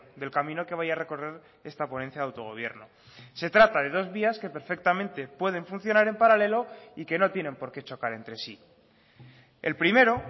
del camino que vaya a recorrer esta ponencia de autogobierno se trata de dos vías que perfectamente pueden funcionar en paralelo y que no tienen porqué chocar entre sí el primero